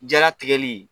Jaratigɛli